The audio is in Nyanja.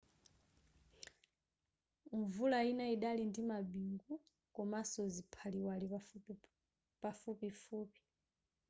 mvula ina idali ndi mabingu komaso ziphaliwali pafupipafupi